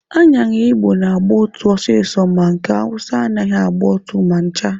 Aṅara Igbo na-agba ụtụ ọsịsọ ma nke Awụsa anaghịkwa agba ụtụ ma ncha.